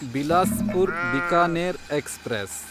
Bilaspur Bikaner express